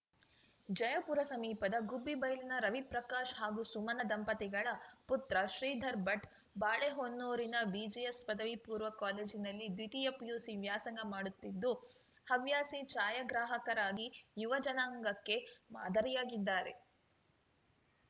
ಜಯಪುರ ಸಮೀಪದ ಗುಬ್ಬಿಬೈಲ್ನ ರವಿಪ್ರಕಾಶ್‌ ಹಾಗೂ ಸುಮನಾ ದಂಪತಿಗಳ ಪುತ್ರ ಶ್ರೀಧರ್‌ ಭಟ್‌ ಬಾಳೆಹೊನ್ನೂರಿನ ಬಿಜಿಎಸ್‌ ಪದವಿ ಪೂರ್ವ ಕಾಲೇಜಿನಲ್ಲಿ ದ್ವಿತೀಯ ಪಿಯುಸಿ ವ್ಯಾಸಂಗ ಮಾಡುತ್ತಿದ್ದು ಹವ್ಯಾಸಿ ಛಾಯಾಗ್ರಾಹಕರಾಗಿ ಯುವ ಜನಾಂಗಕ್ಕೆ ಮಾದರಿಯಾಗಿದ್ದಾರೆ